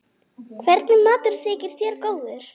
Hvernig matur þykir þér góður?